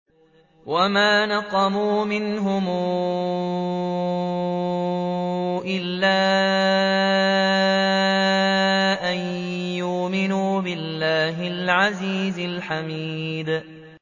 وَمَا نَقَمُوا مِنْهُمْ إِلَّا أَن يُؤْمِنُوا بِاللَّهِ الْعَزِيزِ الْحَمِيدِ